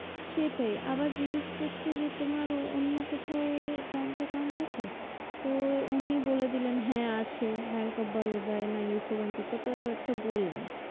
সেটাই আবার জিগ্যেস করছে যে তোমার অন্য কোথাও bank account আছে? তো উনি বলে দিলেন হ্যাঁ আছে bank of Baroda না UCO bank এ কোথাও একটা বললেন